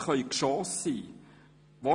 Worte können Geschosse sein.